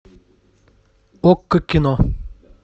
окко кино